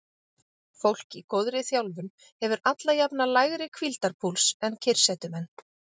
Fólk í góðri þjálfun hefur alla jafna lægri hvíldarpúls en kyrrsetumenn.